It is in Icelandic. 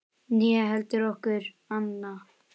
Né heldur nokkur annar.